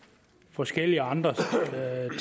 forskellige andre